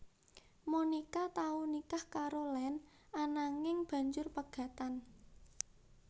Monica tau nikah karo Lannd ananging banjur pegatan